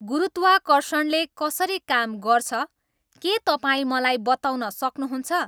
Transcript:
गुरुत्वाकर्षणले कसरी काम गर्छ के तपाईँ मलाई बताउन सक्नुहुन्छ